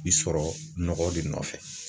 I sɔrɔ nɔgɔ de nɔfɛ